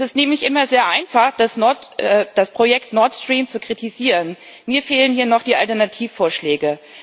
Es ist nämlich immer sehr einfach, das Projekt Nord Stream zu kritisieren. Mir fehlen hier noch die Alternativvorschläge.